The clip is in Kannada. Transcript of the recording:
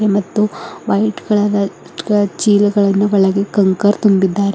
ಮತ್ತು ವೈಟ್ ಕಲರ್ ದ ಕ- ಚೀಲಗಳನ್ನು ಒಳಗೆ ಕಂಕರ್ ತುಂಬಿದ್ದಾರೆ.